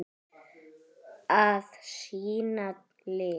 Að sýna lit.